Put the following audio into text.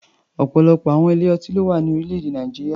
Ọ̀pọ̀lọpọ̀ àwọn ilé-ọtí ló wà ní orílẹ̀-èdè Nàìjíríà.